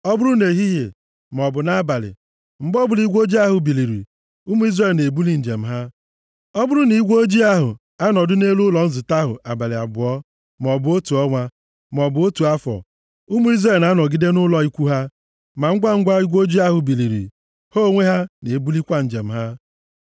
Ọ bụrụ na igwe ojii ahụ anọdụ nʼelu ụlọ nzute ahụ abalị abụọ, maọbụ otu ọnwa, maọbụ otu afọ, ụmụ Izrel na-anọgide nʼụlọ ikwu ha. Ma ngwangwa igwe ojii ahụ biliri, ha onwe ha na-ebulikwa njem ha.